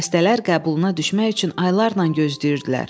Xəstələr qəbuluna düşmək üçün aylarla gözləyirdilər.